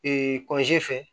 Ee fɛ